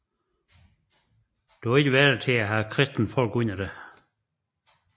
Du er ikke værdig til at have kristne folk under dig